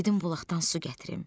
Gedim bulaqdan su gətirim.